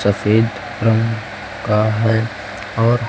सफेद रंग का है और--